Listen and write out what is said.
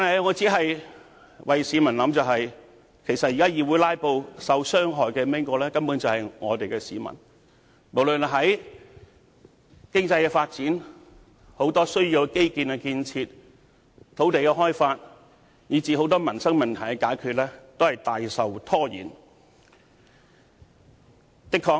我只不過是為市民設想，因為現時議會"拉布"，受傷害的根本是市民，因為無論經濟發展、基建建設、土地開發以至很多民生問題均大受阻延。